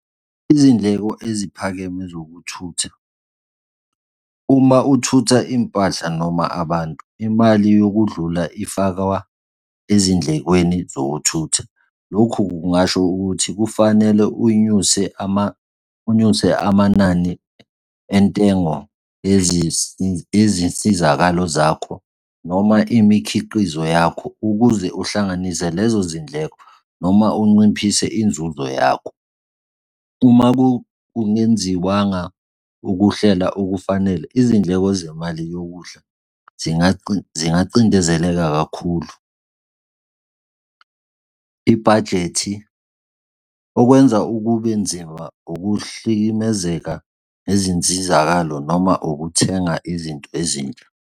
Izindleko eziphakeme zokuthutha. Uma uthutha impahla noma abantu, imali yokudlula ifakwa ezindlekweni zokuthutha. Lokhu kungasho ukuthi kufanele unyuse unyuse amanani entengo yezinsizakalo zakho noma imikhiqizo yakho ukuze uhlanganise lezo zindleko noma unciphise inzuzo yakho. Uma kungenziwanga ukuhlela okufanele, izindleko zemali yokudla zingacindezeleka kakhulu. Ibhajethi okwenza ukube nzima, ukuhlikimezeka nezinsizakalo noma ukuthenga izinto ezintsha.